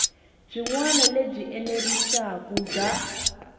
byin wana lebyi enerisaku bya